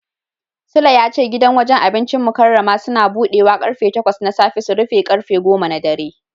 Sule ya ce gidan wajen abincin Mukarramah Suns budewa karfe takwas na safe su rufe karfe goma na dare.